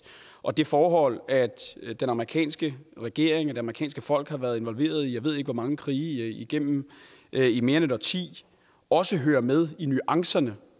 og det forhold at den amerikanske regering og det amerikanske folk har været involveret i jeg ved ikke hvor mange krige igennem mere end et årti også hører med i nuancerne